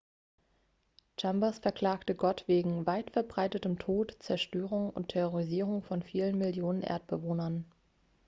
chambers verklagte gott wegen weitverbreitetem tod zerstörung und terrorisierung von vielen millionen erdbewohnern